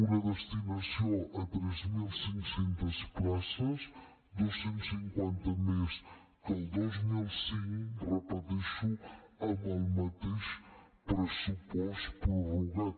una destinació a tres mil cinc cents places dos cents i cinquanta més que el dos mil quinze ho repeteixo amb el mateix pressupost prorrogat